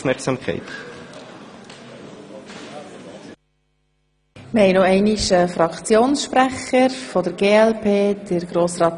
Nun kommt noch der Fraktionssprecher für die glp zu Wort.